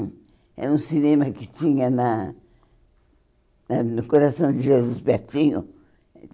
Era um cinema que tinha na na no coração de Jesus, pertinho.